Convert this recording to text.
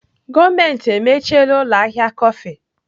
Gọọmenti emechiela ụlọ ahịa kọfị.